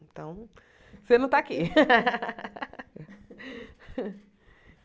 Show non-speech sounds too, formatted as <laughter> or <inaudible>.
Então, você não tá aqui. <laughs>